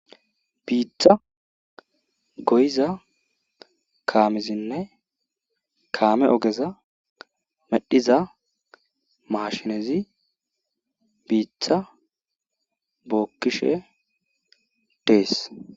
Biitha goyiza kaamezinne kaame ogeza medhiza maashinezi biitta bookkishe dees.